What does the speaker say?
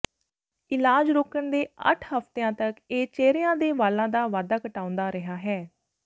ਇਲਾਜ ਰੋਕਣ ਦੇ ਅੱਠ ਹਫ਼ਤਿਆਂ ਤਕ ਇਹ ਚਿਹਰਿਆਂ ਦੇ ਵਾਲਾਂ ਦਾ ਵਾਧਾ ਘਟਾਉਂਦਾ ਰਿਹਾ ਹੈ